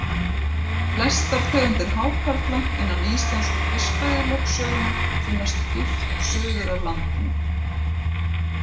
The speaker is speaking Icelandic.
Flestar tegundir hákarla innan íslensku fiskveiðilögsögunnar finnast djúpt suður af landinu.